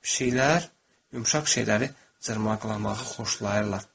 Bir şeylər, yumşaq şeyləri cırmaqlamağı xoşlayırlar.